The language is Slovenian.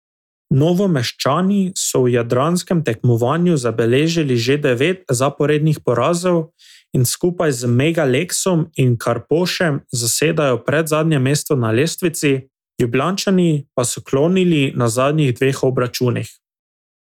Novomeščani so v jadranskem tekmovanju zabeležili že devet zaporednih porazov in skupaj z Mega Leksom in Karpošem zasedajo predzadnje mesto na lestvici, Ljubljančani pa so klonili na zadnjih dveh obračunih.